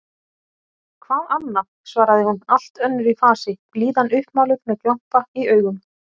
Hvað annað? svaraði hún allt önnur í fasi, blíðan uppmáluð, með glampa í augum.